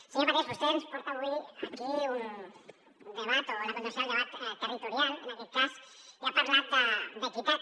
senyor parés vostè ens porta avui aquí un debat o la contradicció del debat territorial en aquest cas i ha parlat d’equitat